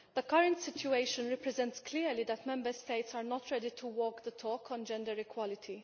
The current situation represents clearly that Member States are not ready to walk the talk on gender equality.